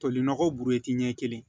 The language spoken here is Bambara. Toli nɔgɔ burɛti ɲɛ kelen